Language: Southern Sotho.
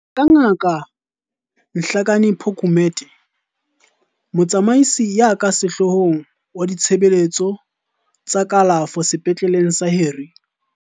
Ho ya ka Ngaka Nhlakanipho Gumede, Motsamaisi ya ka Sehloohong wa Ditshebeletso tsa Kalafo Sepetleleng sa Harry